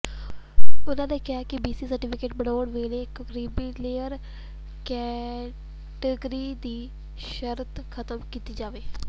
ਉਨ੍ਹਾਂ ਕਿਹਾ ਕਿ ਬੀਸੀ ਸਰਟੀਫ਼ਿਕੇਟ ਬਣਾਉਣ ਵੇਲੇ ਕਰੀਮੀਲੇਅਰ ਕੈਟਾਗਰੀ ਦੀ ਸ਼ਰਤ ਖ਼ਤਮ ਕੀਤੀ ਜਾਵੇ